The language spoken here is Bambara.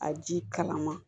A ji kalama